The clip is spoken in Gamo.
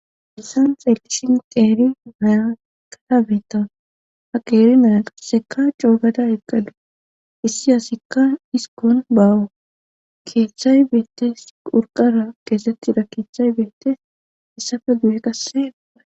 Hessan xeellisin xeeri hayakarabeeta ha qeeri naya qasseka coogada eqqalu issi asikka dhiskon bawu keeththay beettes urqara keesettira keeththay beettes issafe du'e qasseaa